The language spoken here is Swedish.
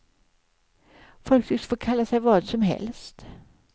Folk tycks få kalla sig vad som helst.